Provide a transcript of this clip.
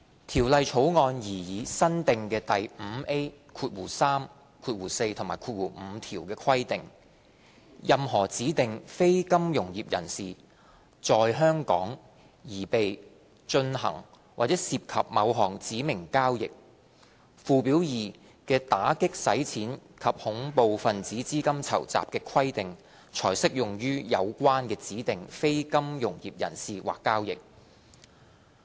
《條例草案》擬議新訂的第 5A3、4及5條規定，任何指定非金融業人士"在香港"擬備、進行或涉及某項指明交易，附表2的打擊洗錢及恐怖分子資金籌集的規定才適用於有關的指定非金融業人士或交易。